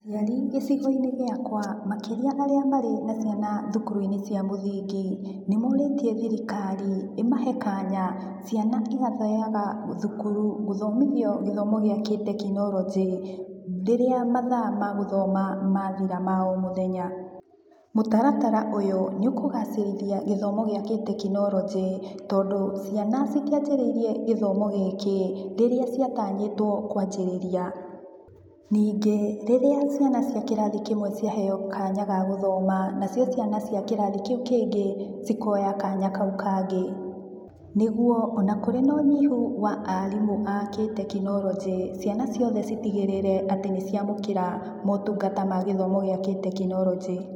Aciarĩ gĩcigo-inĩ gĩakwa makĩria arĩa marĩ na ciana thukuru-inĩ cia mũthingi, nĩ morĩtie thirikari ĩmahe kanya ciana ĩgathiyaga thukuru gũthomithio gĩthomo gĩa kĩtekinoronjĩ, rĩrĩa mathaa ma gũthoma mathira ma o mũthenya. Mũtaratara ũyũ nĩũkũgacĩrithia gĩthomo gĩa kĩtekinoronjĩ, tondũ ciana citianjĩrĩirie gĩthomo gĩkĩ rĩrĩa ciatanyĩtwo kuanjĩrĩria. Ningĩ rĩrĩa ciana cia kĩrathi kĩmwe ciaheyo kanya ga gũthoma na cio ciana cia kĩrathi kĩu kĩngĩ cikoya kanya kau kangĩ, nĩguo ona kũrĩ na ũnyihu wa arimũ a kĩtekinoronjĩ ciana ciothe citigĩrĩre atĩ nĩ ciamũkĩra mũtungata ma gĩthomo gĩa kĩtekinoronjĩ.